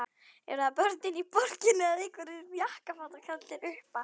Eru það börnin í borginni eða einhverjir jakkafataklæddir uppar?